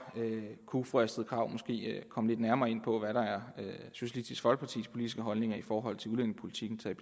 kunne fru astrid krag måske komme lidt nærmere ind på hvad der er socialistisk folkepartis politiske holdninger i forhold til udlændingepolitikken taget